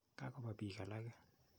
Ka kopa piik alake.